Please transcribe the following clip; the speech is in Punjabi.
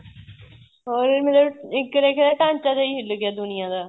ਇੱਕ ਤਰ੍ਹਾਂ ਦਾ ਢਾਂਚਾ ਜਾਂ ਹੀ ਹਿੱਲ ਗਿਆ ਦੁਨੀਆਂ ਦਾ